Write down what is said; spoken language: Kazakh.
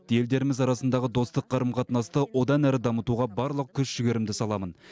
елдеріміз арасындағы достық қарым қатынасты одан әрі дамытуға барлық күш жігерімді саламын